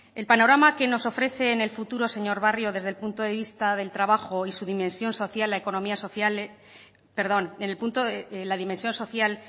el panorama que nos ofrece en el futuro señor barrio desde el punto de vista del trabajo y su dimensión social